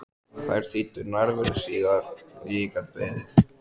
Þær þýddu nærveru síðar og ég gat beðið.